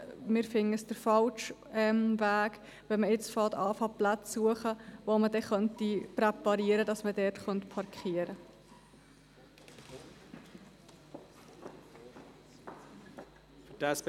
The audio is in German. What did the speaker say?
Wir denken, es wäre der falsche Weg, wenn man jetzt beginnt, Plätze zu suchen, die man dann so präparieren könnte, dass man dort parkieren könnte.